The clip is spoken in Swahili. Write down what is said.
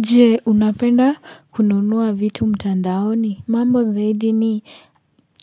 Jee, unapenda kununuwa vitu mtandaoni? Mambo zaidi ni,